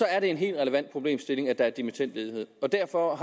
er en helt relevant problemstilling at der er dimittendledighed og derfor